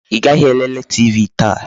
Ị gaghị elele TV taa?